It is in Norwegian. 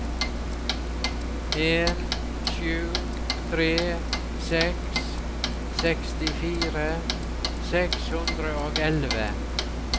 en sju tre seks sekstifire seks hundre og elleve